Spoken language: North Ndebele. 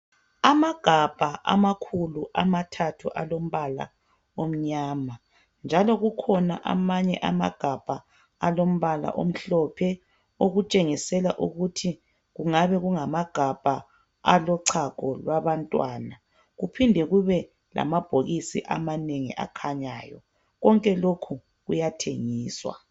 Amagabha amakhulu amathathu alombala omnyama, njalo kukhona amanye amagabha alombala omhlophe, okutshengisela ukuthi engabe elochago lwabantwana. Kuphinde kube lamabhokisi amanengi akhanyayo. Konke lokhu kuyathengiswa.